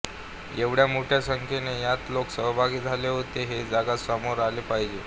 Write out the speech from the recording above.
एवढ्या मोठ्य् संख्येने यात लोक सहभागी झाले होते हे जगा समोर आले पाहिजे